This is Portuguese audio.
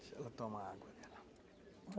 Deixa ela tomar água